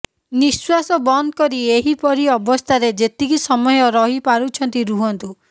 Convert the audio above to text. ନିଃଶ୍ୱାସ ବନ୍ଦ କରି ଏହିପରି ଅବସ୍ଥାରେ ଯେତିକି ସମୟ ରହିପାରୁଛନ୍ତି ରୁହନ୍ତୁ